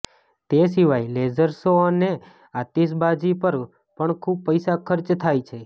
તે સિવાય laser show અને આતશબાજી પર પણ ખુબ પૈસા ખર્ચ થાય છે